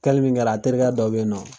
Kɛli min kɛra a terikɛ dɔ bɛ yen nɔ